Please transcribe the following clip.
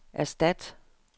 erstat